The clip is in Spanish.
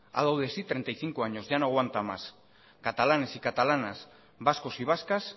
ha dado de sí treinta y cinco años ya no aguanta más catalanes y catalanas vascos y vascas